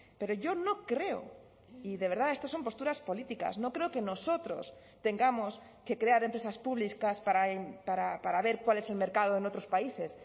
pero yo no creo y de verdad estos son posturas políticas no creo que nosotros tengamos que crear empresas públicas para ver cuál es el mercado en otros países